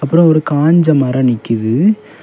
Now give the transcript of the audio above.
அப்ரோ ஒரு காஞ்ச மரம் நிக்கிது.